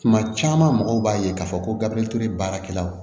Kuma caman mɔgɔw b'a ye k'a fɔ ko gafe baarakɛlaw